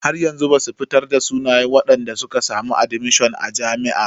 Har yanzu basu fitar da sunayen wadanda suka samu admishon a jami'a.